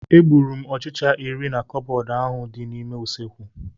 Egburu m ọchịcha iri na cabọọdị ahụ dị n'ime usekwu.